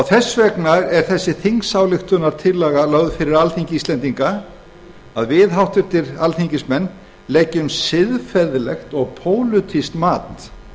þess vegna er þessi þingsályktunartillaga lögð fyrir alþingi íslendinga að við háttvirta alþingismenn leggjum siðferðislegt og pólitískt mat